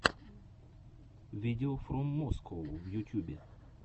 видеофроммоскоу в ютюбе